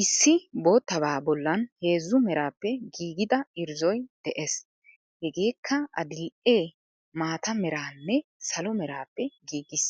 Issi bottabaa bollan heezzu meraappe giggida irrzoy de7ees. Hegeekka adill''ee, maataa meraanne salo meraappe giggis.